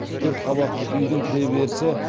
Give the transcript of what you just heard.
төрт қабатты үйдің кіреберісі